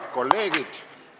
Head kolleegid!